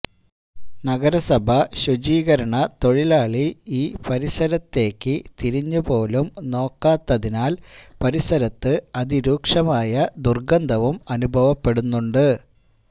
നഗരസഭാ ശുചീകരണ തൊഴിലാൡള് ഈ പരിസരത്തേക്ക് തിരിഞ്ഞുപോലും നോക്കാത്തതിനാല് പരിസരത്ത് അതിരൂക്ഷമായ ദുര്ഗന്ധവും അനുഭവപ്പെടുന്നുണ്ട്